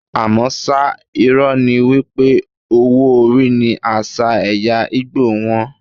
Àmọ́ ṣá, irọ́ ni wípé owó orí ní àṣà ẹ̀ya Ìgbò wón.